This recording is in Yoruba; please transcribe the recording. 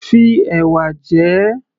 Fi ẹ̀wà jẹ ẹ́